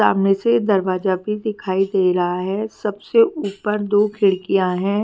सामने से दरवाजा भी दिखाई दे रहे है सबसे उपर दो खिडकिया है।